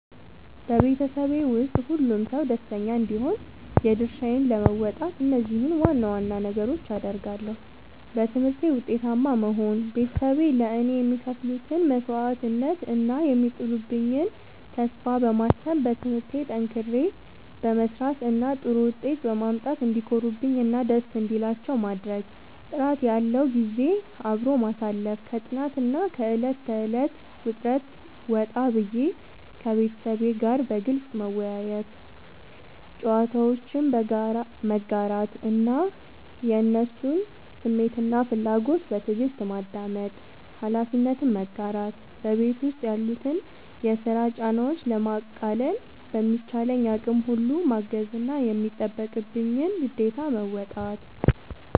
በቤተሰቤ ውስጥ ሁሉም ሰው ደስተኛ እንዲሆን የድርሻዬን ለመወጣት እነዚህን ዋና ዋና ነገሮች አደርጋለሁ፦ በትምህርቴ ውጤታማ መሆን፦ ቤተሰቤ ለእኔ የሚከፍሉትን መስዋዕትነት እና የሚጥሉብኝን ተስፋ በማሰብ፣ በትምህርቴ ጠንክሬ በመስራት እና ጥሩ ውጤት በማምጣት እንዲኮሩብኝ እና ደስ እንዲላቸው ማድረግ። ጥራት ያለው ጊዜ አብሮ ማሳለፍ፦ ከጥናትና ከዕለት ተዕለት ውጥረት ወጣ ብዬ፣ ከቤተሰቤ ጋር በግልጽ መወያየት፣ ጨዋታዎችን መጋራት እና የእነሱን ስሜትና ፍላጎት በትዕግስት ማዳመጥ። ኃላፊነትን መጋራት፦ በቤት ውስጥ ያሉትን የስራ ጫናዎች ለማቃለል በሚቻለኝ አቅም ሁሉ ማገዝና የሚጠበቅብኝን ግዴታ መወጣት።